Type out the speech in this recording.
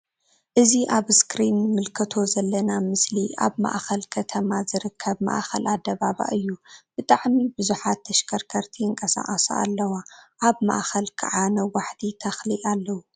እዚ ኣብ እስክሪን እንምልከቶ ዘለና ምስሊ ኣብ ማእከል ከተማ ዝርከብ ማእከል ኣደባባይ እዩ። ብጣዕሚ ብዙሓት ተሽከርከርቲ ይንቀሳቀሳ ኣለዋ ኣብ ማእከል ክዓ ነዋሕቲ ትክሊ ኣለዉ።